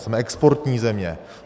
Jsme exportní země.